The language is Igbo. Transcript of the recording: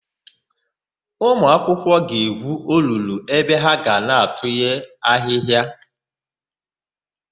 Ụmụakwụkwọ ga-egwu olulu ebe ha ga na-atụnye ahịhịa.